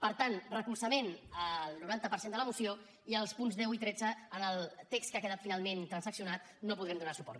per tant recolzament al noranta per cent de la moció i als punts deu i tretze al text que ha quedat finalment transaccionat no els podrem donar suport